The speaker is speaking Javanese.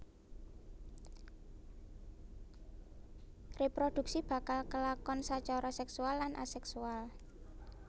Reproduksi bakal kelakonsacara seksual lan aseksual